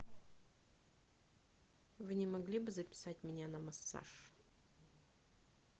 вы не могли бы записать меня на массаж